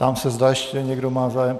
Ptám se, zda ještě někdo má zájem?